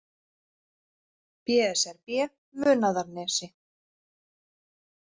BSRB Munaðarnesi